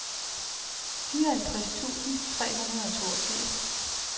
fireoghalvtreds tusind tre hundrede og toogfirs